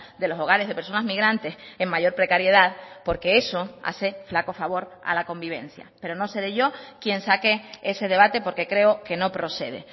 de los hogares de personas migrantes en mayor precariedad porque eso hace flaco favor a la convivencia pero no seré yo quien saque ese debate porque creo que no procede